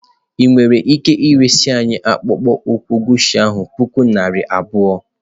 Ị nwere ike iresị anyị akpụkpọ ụkwụ Guchi a puku naira abụọ?